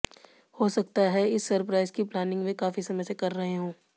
हो सकता है इस सरप्राइज की प्लानिंग वे काफी समय से कर रहे हों